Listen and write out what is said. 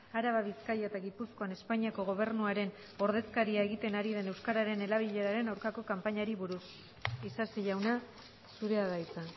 araba bizkaia eta gipuzkoan espainiako gobernuaren ordezkaria egiten ari den euskararen erabileraren aurkako kanpainari buruz isasi jauna zurea da hitza